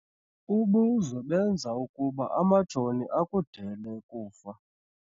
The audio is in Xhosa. Ubuzwe benza ukuba amajoni akudele kufa.